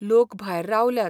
लोक भायर रावल्यात.